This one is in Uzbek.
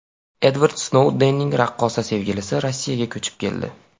Edvard Snoudenning raqqosa sevgilisi Rossiyaga ko‘chib keldi.